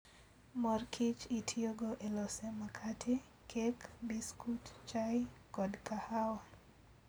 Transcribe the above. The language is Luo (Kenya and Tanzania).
Mor kich itiyogo e loso makate, kek, biskut, chai, kod kahawa.